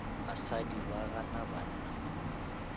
basadi ba gana banna ba